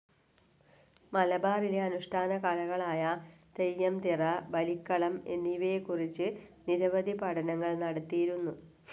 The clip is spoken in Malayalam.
മലബാറിലെ അനുഷ്‌ഠാന കലകളായ തെയ്യം, തിറ, ബലിക്കളം എന്നിവയെകുറിച്ച് നിരവധി പഠനങ്ങൾ നടത്തിയിരുന്നു.